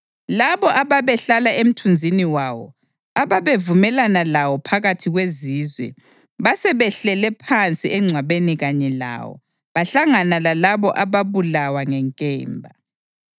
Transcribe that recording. Labo ababehlala emthunzini wawo, ababevumelana lawo phakathi kwezizwe, basebehlele phansi engcwabeni kanye lawo, bahlangana lalabo ababulawa ngenkemba.